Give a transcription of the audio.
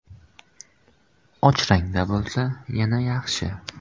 Och rangda bo‘lsa, yana yaxshi.